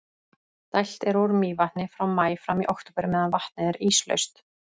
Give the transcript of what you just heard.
dælt er úr mývatni frá maí fram í október meðan vatnið er íslaust